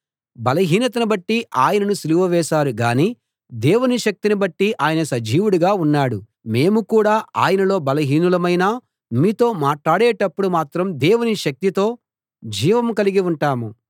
బలహీనతను బట్టి ఆయనను సిలువ వేశారు గాని దేవుని శక్తిని బట్టి ఆయన సజీవుడుగా ఉన్నాడు మేము కూడా ఆయనలో బలహీనులమైనా మీతో మాట్లాడేటప్పుడు మాత్రం దేవుని శక్తితో జీవం కలిగి ఉంటాము